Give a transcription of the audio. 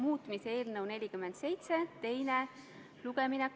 Saame minna lõpphääletuse juurde.